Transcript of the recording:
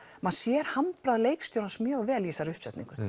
maður sér handbragð leikstjórans mjög vel í þessari uppsetningu